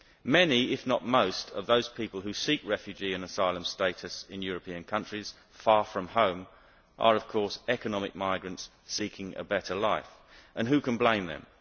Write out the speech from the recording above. Many, if not most, of those people who seek refugee and asylum status in European countries far from home are, of course, economic migrants seeking a better life. And who can blame them?